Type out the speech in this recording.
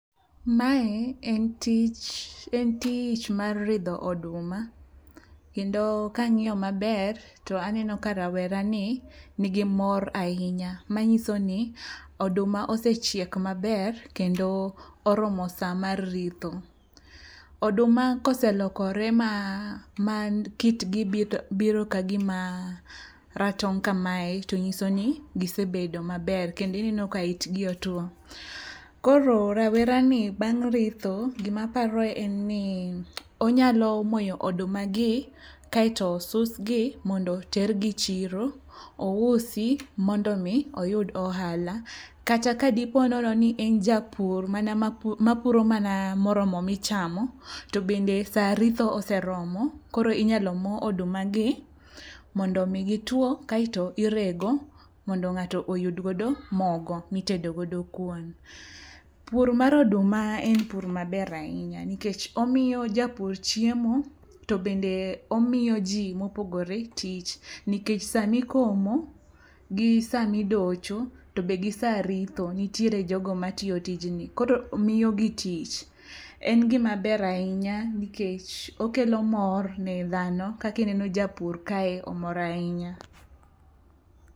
Mae en tich mar ridho oduma kendo kang'iyo maber to aneno ka rawera ni nigi mor ahinya manyiso ni oduma osechiek maber kendo oromo sa mar ritho. Oduma koselokore ma kitgi biro kagima ratong' kamae to nyiso ni gisebedo maber kendo ineno ka itgi otwo. Koro rawerani bang' ritho gima aparo en ni onyalo moyo odumagi kaeto osusgi mondo otergi e chiro ousi mondo omi oyud ohala kata kadipo nono ni en japur mana mapuro mana moromo michamo, to bende sa ritho oseromo koro inyalo mo odumagi mondo omi gitwo kaeto irego mondo ng'ato oyudgodo mogo mitedogodo kuon. Pur mar oduma en pur maber ahinya nikech omiyo japur chiemo to bende omiyo ji mopogore tich nikech samikomo gi samidocho to be gisaritho nitiere jogo matiyo tijni koro miyogi tich. En gimaber ahinya nikech okelo mor ne dahno kakineno japur kae omor ahinya.